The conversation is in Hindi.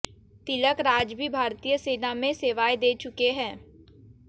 तिलक राज भी भारतीय सेना में सेवाएं दे चुके हैं